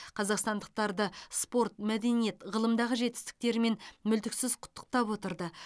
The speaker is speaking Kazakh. қазақстандықтарды спорт мәдениет ғылымдағы жетістіктерімен мүлтіксіз құттықтап отырды